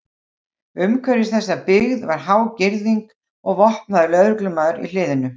Umhverfis þessa byggð var há girðing og vopnaður lögreglumaður í hliðinu.